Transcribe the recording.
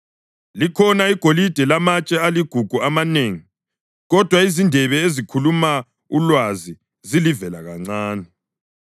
Likhona igolide lamatshe aligugu amanengi, kodwa izindebe ezikhuluma ulwazi zilivelakancane.